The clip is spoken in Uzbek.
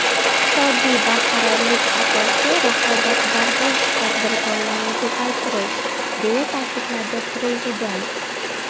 Iqtisodiy barqarorlik asosi raqobatbardosh tadbirkorlarni ko‘paytirishdir”, deya ta’kidladi Prezident.